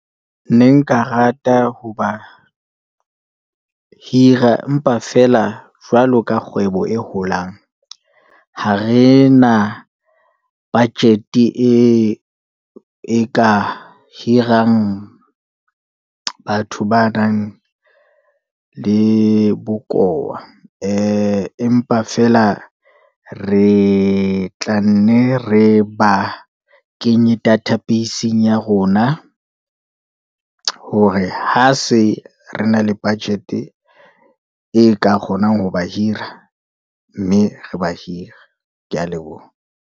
Ne nka rata ho ba hira empa feela jwalo ka kgwebo e holang, ha re na budget-e e ka hirang batho ba nang le bokowa. Empa feela re tla nne re ba kenye database-Ing ya rona, hore ha se re na le budget-e e ka kgonang ho ba hira, mme re ba hira. Ke ya leboha.